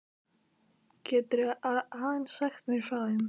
Geturðu aðeins sagt mér frá þeim?